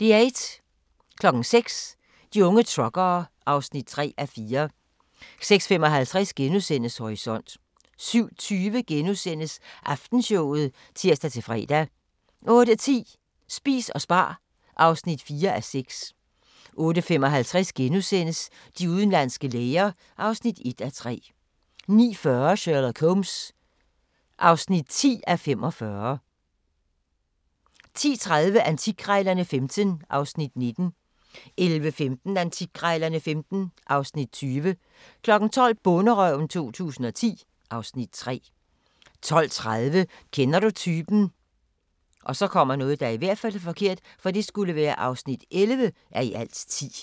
06:00: De unge truckere (3:4) 06:55: Horisont * 07:20: Aftenshowet *(tir-fre) 08:10: Spis og spar (4:6) 08:55: De udenlandske læger (1:3)* 09:40: Sherlock Holmes (10:45) 10:30: Antikkrejlerne XV (Afs. 19) 11:15: Antikkrejlerne XV (Afs. 20) 12:00: Bonderøven 2010 (Afs. 3) 12:30: Kender du typen? (11:10)